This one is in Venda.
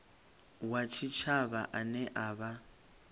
wa tshitshavha ane a vha